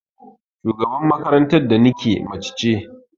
Shugaban makarantar da nike mace ce.